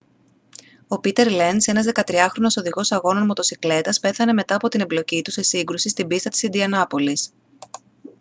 ο πήτερ λενζ ένας 13χρονος οδηγός αγώνων μοτοσικλέτας πέθανε μετά από την εμπλοκή του σε σύγκρουση στην πίστα της ιντιανάπολις